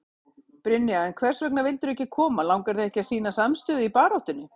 Brynja: En hvers vegna vildirðu ekki koma, langar þig ekki að sýna samstöðu í baráttunni?